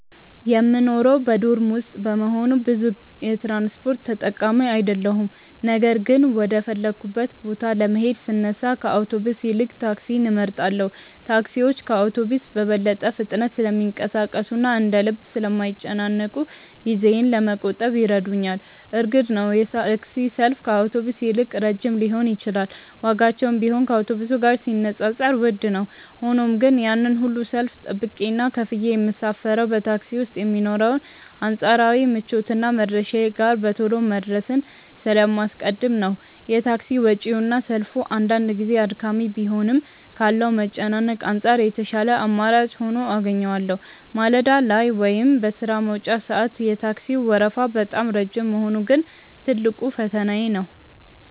የምኖረው በዶርም ውስጥ በመሆኑ ብዙ የትራንስፖርት ተጠቃሚ አይደለሁም ነገር ግን ወደ ፈለግኩበት ቦታ ለመሄድ ስነሳ ከአውቶቡስ ይልቅ ታክሲን እመርጣለሁ። ታክሲዎች ከአውቶቡስ በበለጠ ፍጥነት ስለሚንቀሳቀሱና እንደ ልብ ስለማይጨናነቁ ጊዜዬን ለመቆጠብ ይረዱኛል። እርግጥ ነው የታክሲ ሰልፍ ከአውቶቡስ ይልቅ ረጅም ሊሆን ይችላል ዋጋቸውም ቢሆን ከአውቶቡስ ጋር ሲነጻጸር ውድ ነው። ሆኖም ግን ያንን ሁሉ ሰልፍ ጠብቄና ከፍዬ የምሳፈረው በታክሲ ውስጥ የሚኖረውን አንጻራዊ ምቾትና መድረሻዬ ጋር በቶሎ መድረስን ስለማስቀድም ነው። የታክሲ ወጪውና ሰልፉ አንዳንድ ጊዜ አድካሚ ቢሆንም ካለው መጨናነቅ አንጻር የተሻለ አማራጭ ሆኖ አገኘዋለሁ። ማለዳ ላይ ወይም በሥራ መውጫ ሰዓት የታክሲው ወረፋ በጣም ረጅም መሆኑ ግን ትልቁ ፈተናዬ ነው።